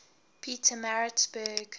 petermaritzburg